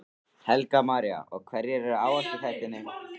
Helga María: Og hverjir eru áhættuþættirnir?